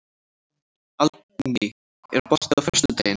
Aldný, er bolti á föstudaginn?